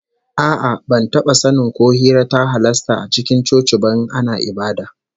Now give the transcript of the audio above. A'a, ban taba sanin ko hira ta halasta a cikin coci ba in ana ibada